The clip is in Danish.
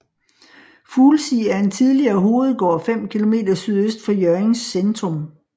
Fuglsig er en tidligere hovedgård 5 km sydøst for Hjørrings centrum